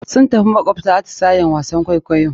Sun tafi makawabta, atisayen wasan kwaikwayo.